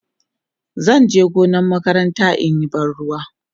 zanje gonar makaranta inyi ban ruwa